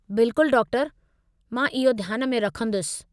बिल्कुलु डॉक्टरु! मां इहो ध्यान में रखंदुसि।